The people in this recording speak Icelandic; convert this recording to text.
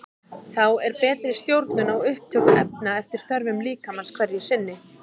Þá er betri stjórnun á upptöku efna eftir þörfum líkamans hverju sinni.